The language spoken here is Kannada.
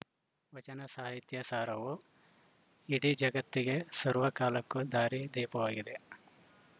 ವಚನ ಸಾಹಿತ್ಯ ಸಾರವು ಇಡೀ ಜಗತ್ತಿಗೆ ಸರ್ವ ಕಾಲಕ್ಕೂ ದಾರಿ ದೀಪವಾಗಿದೆ